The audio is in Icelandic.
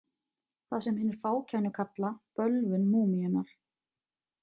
Það sem hinir fákænu kalla bölvun múmíunnar.